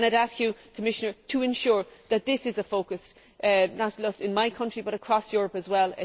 I would ask the Commissioner to ensure that this is a focus not just in my country but across Europe as well.